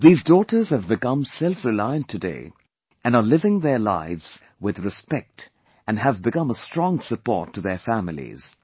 These daughters have become selfreliant today and are living their lives with respect and have become a strong support to their families